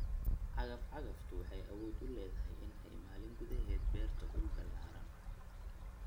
Cagaf-cagaftu waxa ay awood u leedahay in ay maalin gudaheed beerto dhul ballaadhan.